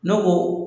Ne ko